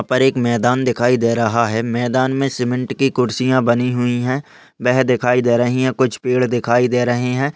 यहाँ पर एक मैदान दिखाई दे रहा है मैदान मे सिमेंट की कुर्सिया बनी हुई है वह दिखाई दे रही है कुछ पेड़ दिखाई दे रहे है।